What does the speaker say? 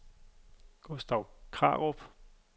Gustav Krarup